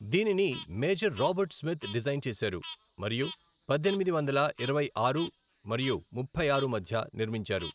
దీనిని major Robert Smith design చేశారు మరియు పద్దెనిమిది వందల ఇరవై ఆరు మరియు ముప్పై ఆరు మధ్య నిర్మించారు.